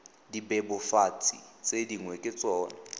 dibebofatsi tse dingwe ke tsona